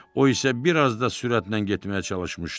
O isə bir az da sürətlə getməyə çalışmışdı.